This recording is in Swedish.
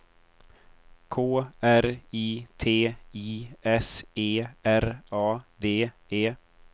K R I T I S E R A D E